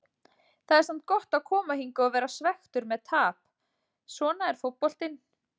Það er samt gott að koma hingað og vera svekktur með tap, svona er fótboltinn.